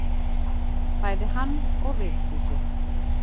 Bæði hann og Vigdísi.